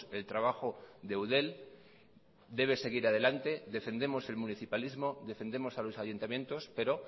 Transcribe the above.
el trabajo de eudel debe seguir adelante defendemos el municipalismo defendemos a los ayuntamientos pero